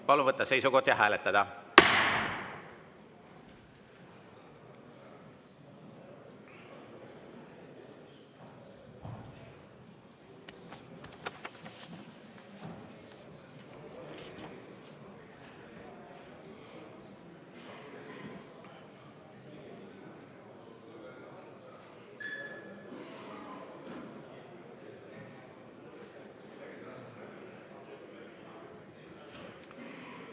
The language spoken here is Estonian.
Palun võtta seisukoht ja hääletada!